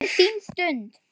Þetta er þín stund.